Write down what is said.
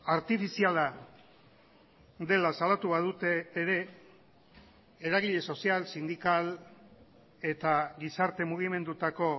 artifiziala dela salatu badute ere eragile sozial sindikal eta gizarte mugimendutako